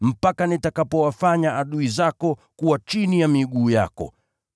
hadi nitakapowaweka adui zako chini ya miguu yako.” ’